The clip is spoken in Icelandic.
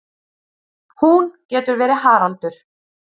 Hún getur verið Haraldur